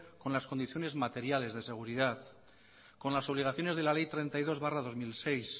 con las condiciones materiales de seguridad con las obligaciones de la ley treinta y dos barra dos mil seis